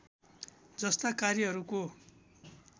जस्ता कार्यहरूको